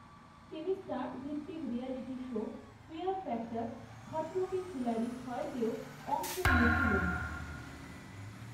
তিনি স্টান্ট ভিত্তিক reality show fear factor Khatron Ke Khiladi ছয়তেও অংশ নিয়েছিলেন।